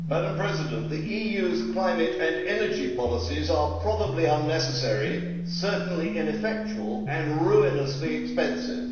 Madam President, the EU's climate and energy policies are probably unnecessary, certainly ineffectual and ruinously expensive.